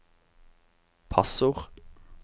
passord